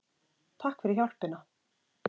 Takk fyrir hjálpina!